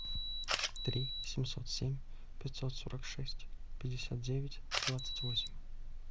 три семьсот семь пятьсот сорок шесть пятьдесят девять двадцать восемь